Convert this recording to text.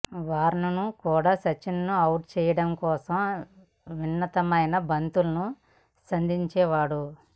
warn కూడా సచిన్ను out చేయడం కోసం వినూత్నమై బంతులను సంధించేవాడు